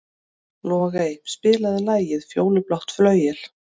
Logey, spilaðu lagið „Fjólublátt flauel“.